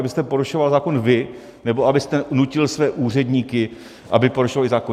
Abyste porušoval zákon vy nebo abyste nutil své úředníky, aby porušovali zákon.